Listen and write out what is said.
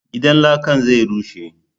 Gidan lakan zai rushe